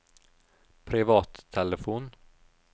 privattelefon